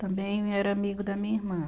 Também era amigo da minha irmã.